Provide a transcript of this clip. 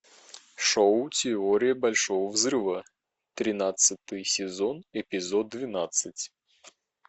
шоу теория большого взрыва тринадцатый сезон эпизод двенадцать